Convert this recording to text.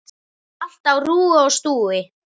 Allt á rúi og stúi.